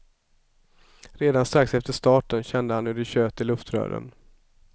Redan strax efter starten kände han hur det tjöt i luftrören.